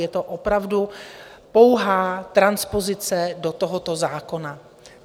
Je to opravdu pouhá transpozice do tohoto zákona.